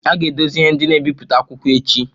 A ga-edozi ihe ndị na-ebipụta akwụkwọ echi